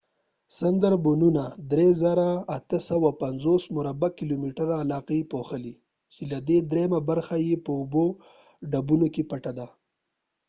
سندربنونه د 3،850 مربع کلومیټر علاقه پوښلې، چې له دې دریمه برخه يې په اوبو/ډبونو کې پټه ده